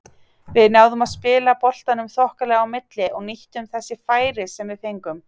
Við náðum að spila boltanum þokkalega á milli og nýttum þessi færi sem við fengum.